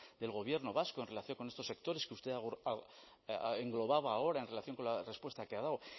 del gobierno vasco en relación con estos sectores que usted englobaba ahora en relación con la respuesta que ha dado